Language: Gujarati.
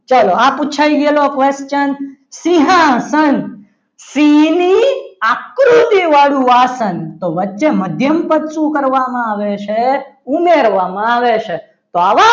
ચાલો આ પુછાય ગયેલો question સિંહાસન સિંહની આકૃતિવાળું આસન તો વચ્ચે મધ્યમ પદ શું કરવામાં આવે છે ઉમેરવામાં આવે છે. તો આવા